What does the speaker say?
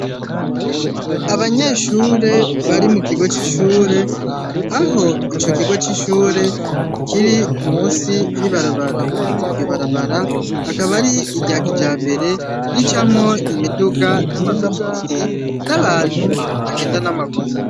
Abanyeshure bari mu kigo c'ishure aho ico kigo c'ishure kiri munsi y'ibarabara. Iryo barabara akaba ari irya kijambere ricamwo imiduga n'amapikipiki, n'abantu bagenda n'amaguru.